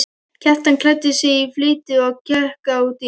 Kjartan klæddi sig í flýti og gekk á dyr.